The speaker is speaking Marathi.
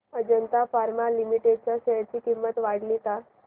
अजंता फार्मा लिमिटेड च्या शेअर ची किंमत वाढली का